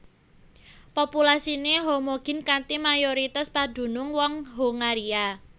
Populasiné homogin kanthi mayoritas padunung wong Hongaria